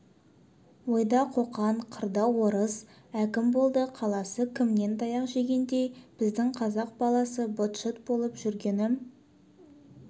ойда қоқан қырда орыс әкім болды қаласы кімнен таяқ жегендей біздің қазақ баласы быт-шыт болып жүргені